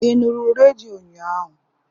Ị nụrụ redio ụnyaahụ?